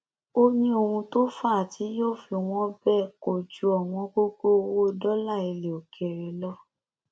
ó ní ohun tó fà á tí yóò fi wọn bẹẹ kò ju ọwọngọgọ owó dọlà ilẹ òkèèrè lọ